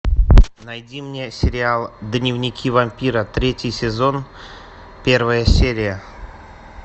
найди мне сериал дневники вампира третий сезон первая серия